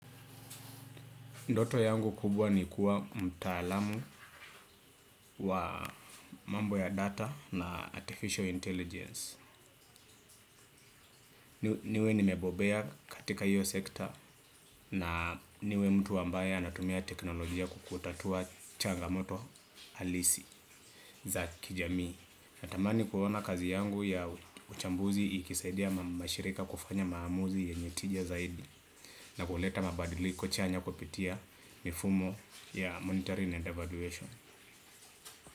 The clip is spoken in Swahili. Ndoto yangu kubwa ni kuwa mtaalamu wa mambo ya data na artificial intelligence. Niwe nimebobea katika iyo sekta na niwe mtu ambaye anatumia teknolojia kukutatua changamoto halisi za kijamii. Natamani kuona kazi yangu ya uchambuzi ikisaidia mashirika kufanya maamuzi yenye tija zaidi na kuleta mabadiliko chanya kupitia nifumo ya monitoring and evaluation.